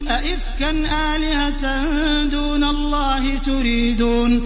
أَئِفْكًا آلِهَةً دُونَ اللَّهِ تُرِيدُونَ